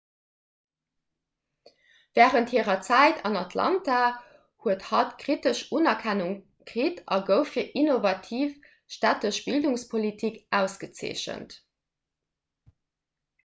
wärend hirer zäit an atlanta huet hatt kritesch unerkennung kritt a gouf fir innovativ stättesch bildungspolitik ausgezeechent